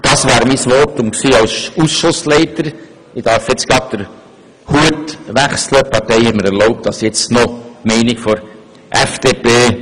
Die Partei hat mir erlaubt, nun gewissermassen den Hut zu wechseln und noch die Meinung der FDP kundzutun.